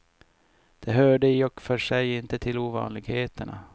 Det hörde i och för sig inte till ovanligheterna.